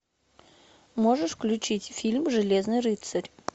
можешь включить фильм железный рыцарь